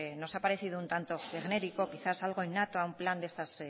nos ha parecido un tanto genérico quizás algo innato a un plan de estas